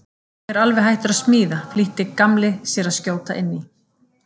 Ég er alveg hættur að smíða flýtti Gamli sér að skjóta inn í.